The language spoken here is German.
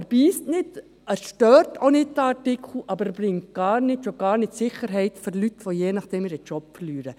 Der Artikel beisst nicht, er stört auch nicht, aber er bringt gar nichts, schon gar nicht Sicherheit für Leute, die je nach dem ihren Job verlieren.